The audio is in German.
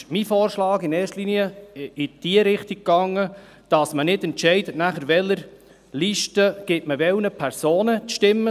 Deshalb ging mein Vorschlag in erster Linie in die Richtung, nicht zu entscheiden, mit welcher Liste man welchen Personen die Stimme gibt.